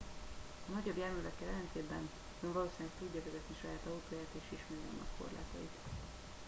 a nagyobb járművekkel ellentétben ön valószínűleg tudja vezetni saját autóját és ismeri annak korlátait